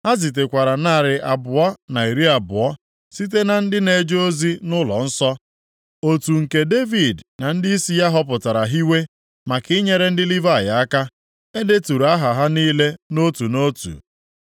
Ha zitekwara narị abụọ na iri abụọ (220) site na ndị na-eje ozi nʼụlọnsọ. Otu nke Devid na ndịisi ya họpụtara hiwee, maka inyere ndị Livayị aka. E deturu aha ha niile nʼotu nʼotu.